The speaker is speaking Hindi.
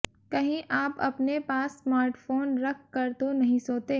कहीं आप अपने पास स्मार्टफोन रख कर तो नहीं सोते